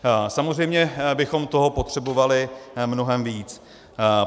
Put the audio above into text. Samozřejmě bychom toho potřebovali mnohem víc.